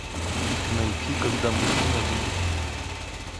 найти когда мужчина любит